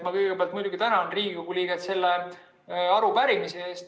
Ma kõigepealt muidugi tänan Riigikogu liiget arupärimise eest.